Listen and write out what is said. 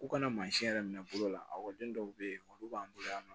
K'u kana yɛrɛ minɛ bolo la ɔkɔliden dɔw be yen olu b'an bolo yan nɔ